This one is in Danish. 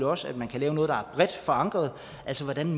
også at man kan lave noget der er bredt forankret altså hvordan